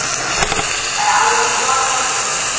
Þetta er alveg glatað svona!